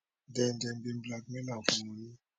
den dem bin blackmail am for money